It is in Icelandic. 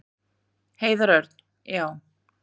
Heiðar Örn: Já.